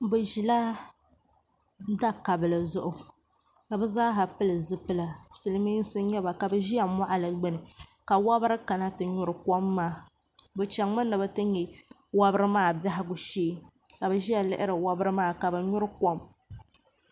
bɛ ʒila da' kabili zuɣu ka bɛ zaa ha pili zupila silimiinsi n-nyɛ ba ka bɛ ʒiya mɔɣili gbunni ka wɔbiri kana ti nyuri kom maa bɛ chaŋmi ni bɛ ti nya wɔbiri maa biɛhigu shee ka bɛ ʒiya lihiri wɔbiri maa ka bɛ nyuri kom.